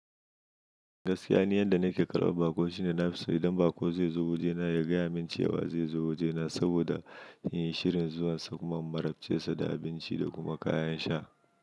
Gaskiya ne yanda nake karɓar baƙo shine na fi so idan baƙo zai zo wajena ya gaya min cewa zai zo wajena saboda in yi shirin zuwansa kuma in marabce sa da abinci da kuma kayan sha.